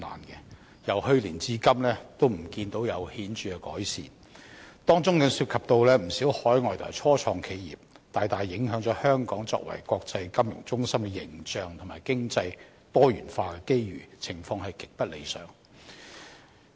可是，由去年至今仍未見有顯著改善，當中涉及不少海外和初創企業，大大影響香港作為國際金融中心的形象和經濟多元化的機遇，情況極不理想。